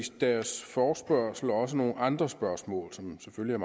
deres forespørgsel også nogle andre spørgsmål som selvfølgelig